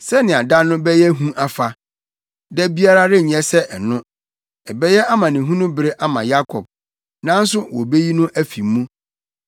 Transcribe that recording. Sɛnea da no bɛyɛ hu afa! Da biara renyɛ sɛ ɛno. Ɛbɛyɛ amanehunu bere ama Yakob, nanso wobeyi no afi mu.